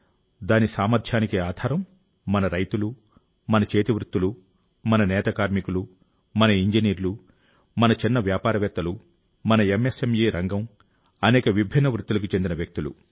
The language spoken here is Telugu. దాని సామర్థ్యానికి ఆధారం మన రైతులు మన చేతివృత్తులు మన నేత కార్మికులు మన ఇంజనీర్లు మన చిన్న వ్యాపారవేత్తలు మన ఎంఎస్ఎంఇ రంగం అనేక విభిన్న వృత్తులకు చెందిన వ్యక్తులు